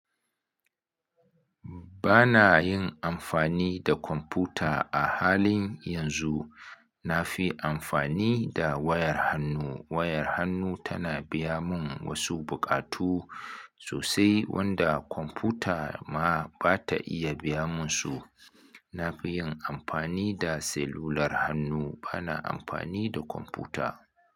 Ba na yin amfani da kwamfuta a halin yanzu. Na fi amfani da wayar hannu. Wayar hannu tana biya mun wasu buƙatu sosai wanda kwamfuta ma ba ta iya biya mun su. Na fi yin amfani da selular hannu, ba na amfani da kwamfuta.